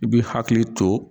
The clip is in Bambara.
I b'i hakili to